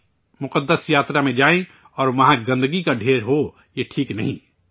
ہم، مقدس یاترا میں جائیں اور وہاں گندگی کا ڈھیر ہو، یہ ٹھیک نہیں